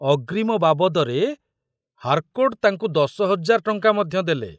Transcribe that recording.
ଅଗ୍ରୀମ ବାବଦରେ ହାରକୋର୍ଟ ତାଙ୍କୁ ଦଶହଜାର ଟଙ୍କା ମଧ୍ୟ ଦେଲେ।